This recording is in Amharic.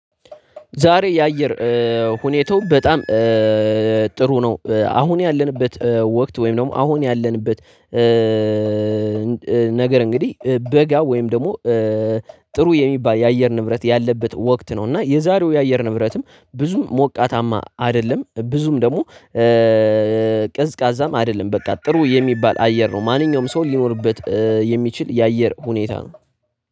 ዛሬ የአየር ሁኔታው በጣም ጥሩ ነው አሁን ያለንበት ወቅት ወይም ደግሞ አሁን ያለንበት ነገር እንግዲህ በጋ ወይም ደግሞ ጥሩ የሚባል የአየር ንብረት ያለበት ወቅት ነው እና የዛሬው የአየር ንብረትም ብዙም ሞቃታማ አይደለም ብዙም ደግሞ ቅዝቃዛም አይደለም በቃ ጥሩ የሚባል አየር ነው ማንኛውም ሰው ሊኖርበት የሚችል የአየር ሁኔታ ነው።